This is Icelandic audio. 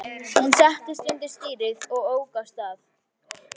Hún settist undir stýrið og ók af stað.